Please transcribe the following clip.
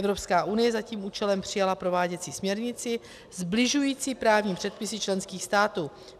Evropská unie za tím účelem přijala prováděcí směrnici sbližující právní předpisy členských států.